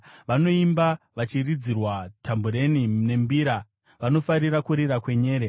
Vanoimba vachiridzirwa tambureni nembira; vanofarira kurira kwenyere.